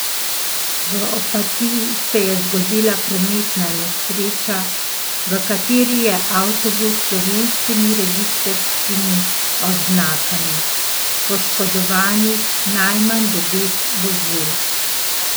V Opatiji se je zgodila prometna nesreča, v kateri je avtobus s slovenskimi registrskimi oznakami poškodovanih najmanj devet vozil.